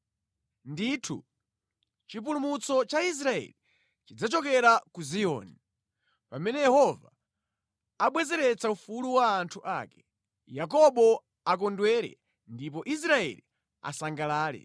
Ndithu, chipulumutso cha Israeli chidzachokera ku Ziyoni! Pamene Yehova abwezeretsa ufulu wa anthu ake, Yakobo akondwere ndipo Israeli asangalale!